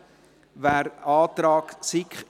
Wer den Antrag der SiK …